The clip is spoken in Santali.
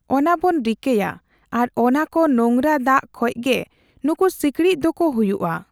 ᱚᱱᱟᱵᱚᱱ ᱨᱤᱠᱟᱹᱭᱟ ᱟᱨ ᱚᱱᱟᱠᱚ ᱱᱳᱝᱨᱟ ᱫᱟᱜ ᱠᱷᱚᱡ ᱜᱮ ᱱᱩᱠᱩ ᱥᱤᱠᱲᱤᱡ ᱫᱚᱠᱚ ᱦᱩᱭᱩᱜᱼᱟ ᱾